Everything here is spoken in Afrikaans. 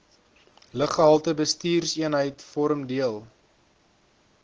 luggehaltebestuurseenheid vorm deel